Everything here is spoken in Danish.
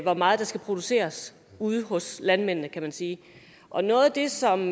hvor meget der skal produceres ude hos landmændene kan man sige og noget af det som